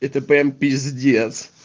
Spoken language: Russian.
это прям пиздец